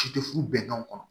Si tɛ furu bɛnkanw kɔnɔ